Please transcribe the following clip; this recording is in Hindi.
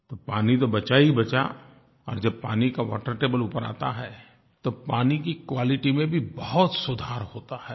तो पानी तो बचा ही बचा और जब पानी का वाटर टेबल ऊपर आता है तो पानी की क्वालिटी में भी बहुत सुधार होता है